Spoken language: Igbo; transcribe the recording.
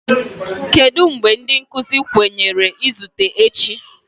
Kedu mgbe ndị nkuzi kwenyere izute echi?